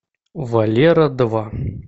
валера два